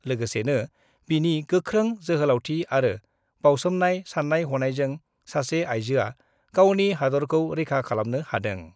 लोगोसेनो बिनि गोख्रों जोहोलावथि आरो बाउसोमनाय सान्नाय हनायजों सासे आइजोआ गावनि हादरखौ रैखा खालामनो हादों।